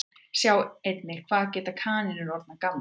Sjá einnig Hvað geta kanínur orðið gamlar?